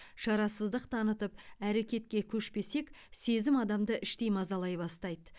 шарасыздық танытып әрекетке көшпесек сезім адамды іштей мазалай бастайды